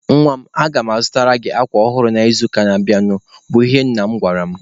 "Nwa m, aga mụ azụtara gị akwa ọhụrụ n'izuụka na-abịanụ", bụ ihe nna m gwara mụ.